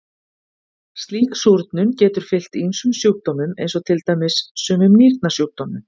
Slík súrnun getur fylgt ýmsum sjúkdómum eins og til dæmis sumum nýrnasjúkdómum.